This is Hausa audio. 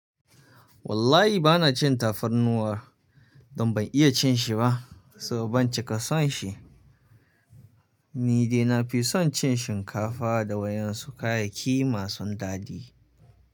Wallahi bana cin tafarnuwa don ban iya cin shi ba so ban cika son shi. Ni dai na fi son cin shinkafa da wayansu kayayyaki masu dadi.